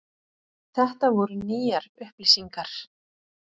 Þetta voru nýjar upplýsingar.